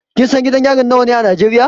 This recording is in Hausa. Kin san gidan yari nawa ne a Najeriya?